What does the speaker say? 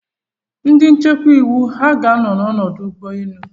Ndị nchekwa iwu ha ga-anọ n'ọdụ ụgbọ elu?